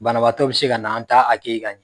Banabaatɔ bɛ se ka na an t'a ka ɲɛ